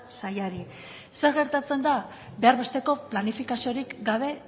sailari zer gertatzen da behar besteko planifikaziorik gabe